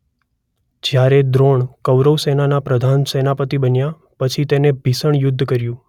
જ્યારે દ્રોણ કૌરવસેનાના પ્રધાન સેનાપતી બન્યા પછી તેમણે ભીષણ યુદ્ધ કર્યું.